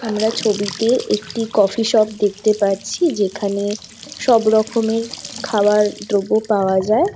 আমরা ছবিতে একটি কফি শপ দেখতে পাচ্ছি যেখানে সব রকমের খাবার দ্রব্য পাওয়া যায়।